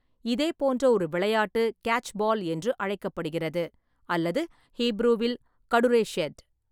இதே போன்ற ஒரு விளையாட்டு கேட்ச்பால் என்று அழைக்கப்படுகிறது, அல்லது ஹீப்ருவில், கடுரேஷெட்.